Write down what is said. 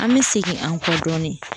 An bɛ segin an kɔ dɔɔnin